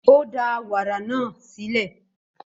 Ó da wàrà náà sílẹ̀.